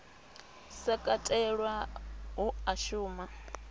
sa katelwa hu a shuma